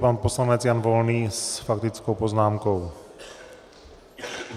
Pan poslanec Jan Volný s faktickou poznámkou.